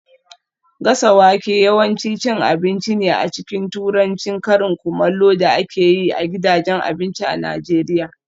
Gasa wake yawanci cin abinci ne a cikin Turancin karin kumallo da ake yi a gidajen abinci a Najeriya